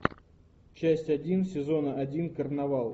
часть один сезона один карнавал